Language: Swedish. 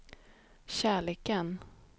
kärleken